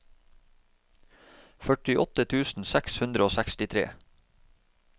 førtiåtte tusen seks hundre og sekstitre